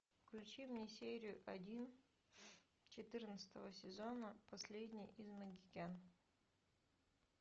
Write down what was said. включи мне серию один четырнадцатого сезона последний из магикян